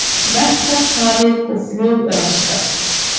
Verkfall hafið og flug raskast